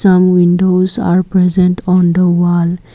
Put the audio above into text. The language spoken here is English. some windows are present on the wall.